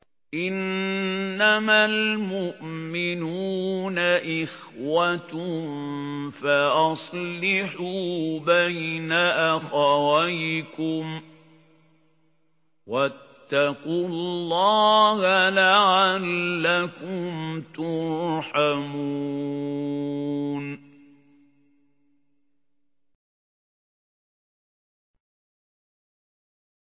إِنَّمَا الْمُؤْمِنُونَ إِخْوَةٌ فَأَصْلِحُوا بَيْنَ أَخَوَيْكُمْ ۚ وَاتَّقُوا اللَّهَ لَعَلَّكُمْ تُرْحَمُونَ